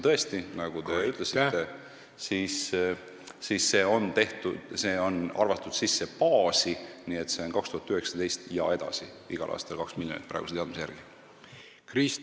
Tõesti, nagu te ütlesite, see raha on arvatud baasi sisse, nii et 2019. aastal ja edasi on igal aastal praeguse teadmise järgi ette nähtud 2 miljonit.